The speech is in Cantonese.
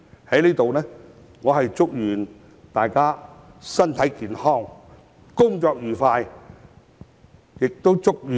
在這裏，我祝願大家身體健康，工作愉快！